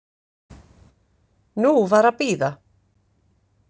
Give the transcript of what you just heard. Nú var að bíða.